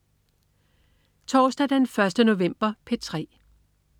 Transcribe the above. Torsdag den 1. november - P3: